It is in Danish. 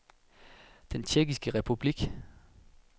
Den Tjekkiske Republik